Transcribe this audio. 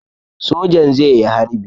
Sojan zai yi harbi.